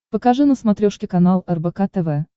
покажи на смотрешке канал рбк тв